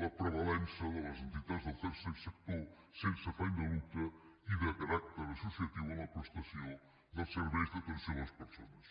la prevalença de les entitats del tercer sector sense afany de lucre i de caràcter associatiu en la prestació dels serveis d’atenció a les persones